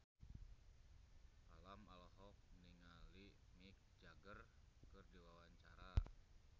Alam olohok ningali Mick Jagger keur diwawancara